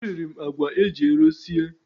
E riri m àgwà eji ero sie.